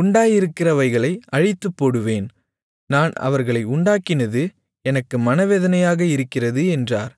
உண்டாயிருக்கிறவைகளை அழித்துப்போடுவேன் நான் அவர்களை உண்டாக்கினது எனக்கு மனவேதனையாக இருக்கிறது என்றார்